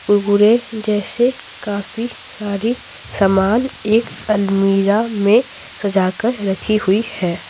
गुरगुरे जैसे काफी सारी सामान एक अलमीरा में सजाकर रखी हुई है।